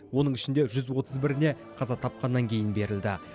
оның ішінде жүз отыз біріне қаза тапқаннан кейін берілді